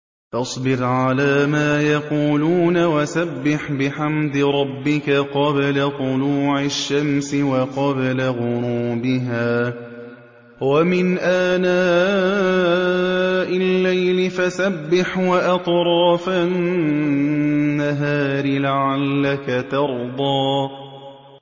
فَاصْبِرْ عَلَىٰ مَا يَقُولُونَ وَسَبِّحْ بِحَمْدِ رَبِّكَ قَبْلَ طُلُوعِ الشَّمْسِ وَقَبْلَ غُرُوبِهَا ۖ وَمِنْ آنَاءِ اللَّيْلِ فَسَبِّحْ وَأَطْرَافَ النَّهَارِ لَعَلَّكَ تَرْضَىٰ